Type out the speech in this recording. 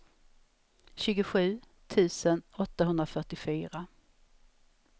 tjugosju tusen åttahundrafyrtiofyra